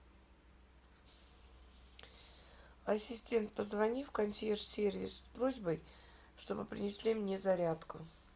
ассистент позвони в консьерж сервис с просьбой чтобы принесли мне зарядку